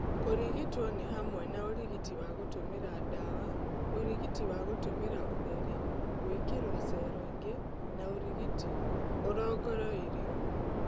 Kũrigito nĩ hamwe na ũrigiti wa gũtũmĩra ndawa, ũrigiti wa gũtũmĩra ũtheri, gwĩkĩrwo cero ingĩ na ũrigiti ũrongoroiryo.